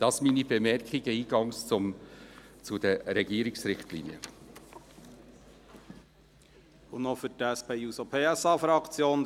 Dies sind meine Eingangsbemerkungen zu den Richtlinien des Regierungsrates.